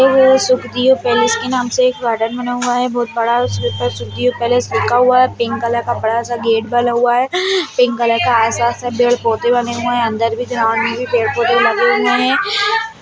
Sukhdiyo Palace के नाम से एक गार्डन बना हुआ है बहुत बड़ा उसके ऊपर सुखदियो पैलेस लिखा हुआ है पिंक कलर का बड़ा-सा गेट बना हुआ है पिंक कलर का आस-पास में पेड़-पौधे बने हुए हैं अंदर भी ग्राउंड में पेड़-पौधे लगे हुए हैं।